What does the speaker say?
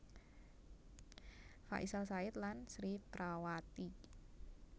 Faisal Said lan Sri Prawati